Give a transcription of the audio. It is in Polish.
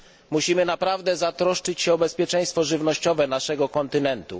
Musimy naprawdę zatroszczyć się o bezpieczeństwo żywnościowe naszego kontynentu.